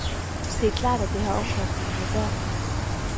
Det er klart, at det har omkostninger for børnene.